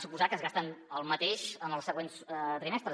suposem que es gasten el mateix en els següents trimestres